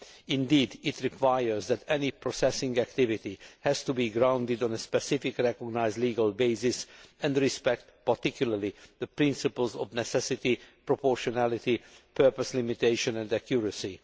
Indeed, it requires that any processing activity has to be grounded on a specific, recognised legal basis and respect particularly the principles of necessity, proportionality, purpose limitation and accuracy.